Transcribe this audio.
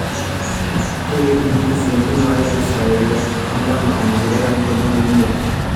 tipik notisi entumo aai e saa ile endama engor ildakikani tomon o imiet